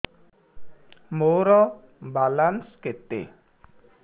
ମୋର ବାଲାନ୍ସ କେତେ